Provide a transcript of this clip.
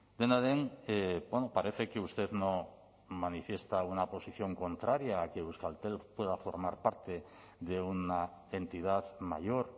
dena den parece que usted no manifiesta una posición contraria a que euskaltel pueda formar parte de una entidad mayor